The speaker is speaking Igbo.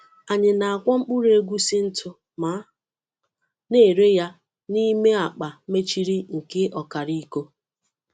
Anyị na-akwọ mkpụrụ egusi ntụ ma na-ere ya n’ime akpa mechiri nke ọkara iko.